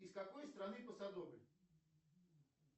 из какой страны пасодобль